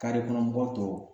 kɔnɔ mɔgɔ tɔw